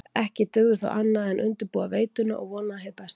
Ekki dugði þó annað en undirbúa veituna og vona hið besta.